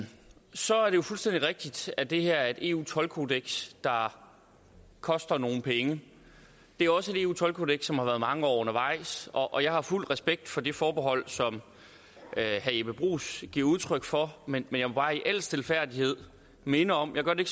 så er det jo fuldstændig rigtigt at det her er et eu toldkodeks der koster nogle penge det er også et eu toldkodeks som har været mange år undervejs og jeg har fuld respekt for det forbehold som herre jeppe bruus giver udtryk for men jeg må bare i al stilfærdighed minde om jeg gør det